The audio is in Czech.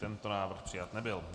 Tento návrh přijat nebyl.